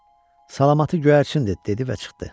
salamati göyərçindi dedi və çıxdı.